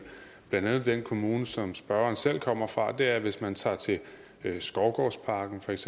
blandt andet den kommune som spørgeren selv kommer fra er at hvis man tager til skovgårdsparken feks